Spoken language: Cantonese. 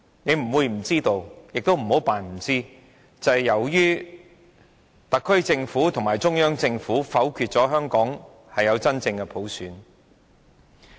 他不會不知道，亦不要假裝不知道，佔中發生是由於特區政府和中央政府否決了香港有真正的普選。